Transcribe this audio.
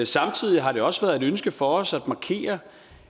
samtidig har det også været et ønske for os at markere